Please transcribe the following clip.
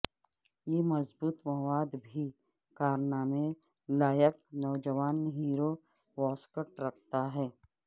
یہ مضبوط مواد بھی کارنامے لائق نوجوان ہیرو واسکٹ رکھتا ہے